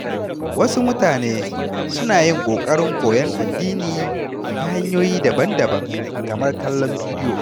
Wasu mutane suna yin ƙoƙarin koyon addini ta hanyoyi daban-daban kamar kallon bidiyo.